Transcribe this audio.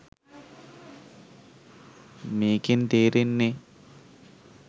මේකෙන් තේරෙන්නේ